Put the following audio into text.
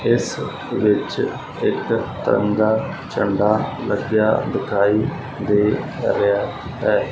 ਇਸ ਵਿੱਚ ਇਕ ਤਿਰੰਗਾਂ ਝੰਡਾ ਲੱਗਿਆ ਦਿਖਾਈ ਦੇ ਰਿਹਾ ਹੈ।